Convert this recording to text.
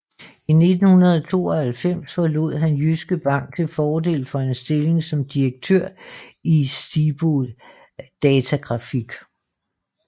I 1992 forlod han Jyske Bank til fordel for en stilling som direktør i Stibo Datagrafik